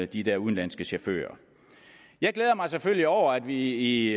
de der udenlandske chauffører jeg glæder mig selvfølgelig over at vi i